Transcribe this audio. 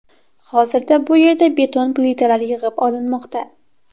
Hozirda bu yerda beton plitalar yig‘ib olinmoqda.